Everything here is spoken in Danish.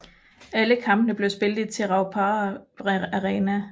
Alle kampene blev spillet i Te Rauparaha Arena